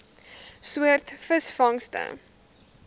soort visvangste